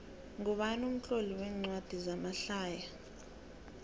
ngubani umtloli wencwadi zamahlaya